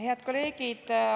Head kolleegid!